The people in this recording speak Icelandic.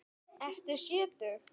Ertu sjötug?